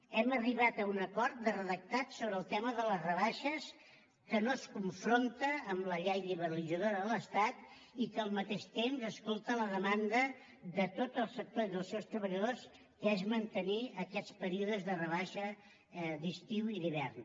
hem arribat a un acord de redactat sobre el tema de les rebaixes que no es confronta amb la llei liberalitzadora de l’estat i que al mateix temps escolta la demanda de tot el sector i dels seus treballadors que és mantenir aquests períodes de rebaixa d’estiu i d’hivern